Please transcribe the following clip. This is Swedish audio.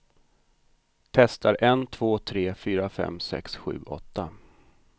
Testar en två tre fyra fem sex sju åtta.